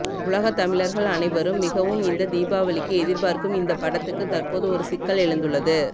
உலக தமிழர்கள் அனைவரும் மிகவும் இந்த தீபாவளிக்கு எதிர்பார்க்கும் இந்த படத்துக்கு தற்போது ஒரு சிக்கல் எழுந்துள்ளது